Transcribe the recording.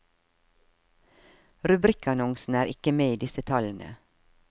Rubrikkannonsene er ikke med i disse tallene.